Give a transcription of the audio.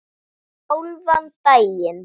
Hálfan daginn.